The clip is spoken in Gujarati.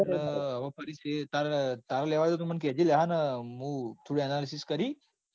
અન ફરી શેર તાર તારે લેવા જાય તો મન કેજે લ્યા મુ થોડું analysis કરી.